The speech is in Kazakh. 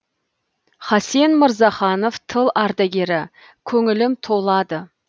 хасен мырзаханов тыл ардагері көңілім толады